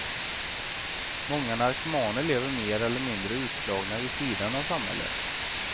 Många narkomaner lever mer eller mindre utslagna vid sidan av samhället.